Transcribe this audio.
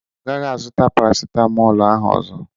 Ọ gaghị a zụta parasitamọlu ahụ ọzọ.